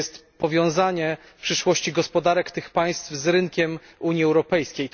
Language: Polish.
To powiązanie przyszłości gospodarek tych państw z rynkiem Unii Europejskiej.